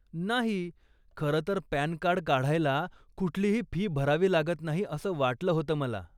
नाही, खरंतर PAN card काढायला कुठलीही फी भरावी लागत नाही असं वाटलं होतं मला.